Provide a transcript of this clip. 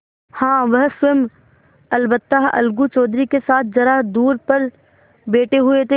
हाँ वह स्वयं अलबत्ता अलगू चौधरी के साथ जरा दूर पर बैठे हुए थे